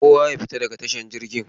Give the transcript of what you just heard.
Kowa ya fita daga tashar jirgin!.